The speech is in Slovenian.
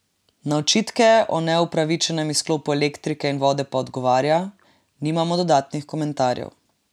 Na očitke o neupravičenem izklopu elektrike in vode pa odgovarja: 'Nimamo dodatnih komentarjev.